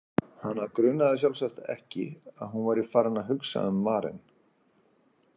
Hana grunaði sjálfsagt ekki að hún væri farin að hugsa um Maren.